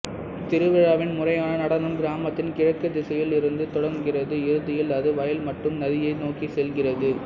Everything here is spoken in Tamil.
திருவிழாவின் முறையான நடனம் கிராமத்தின் கிழக்கு திசையில் இருந்து தொடங்குகிறது இறுதியில் அது வயல் மற்றும் நதியை நோக்கி செல்கிறது